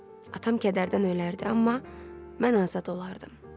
Atam kədərdən ölərdi, amma mən azad olardım.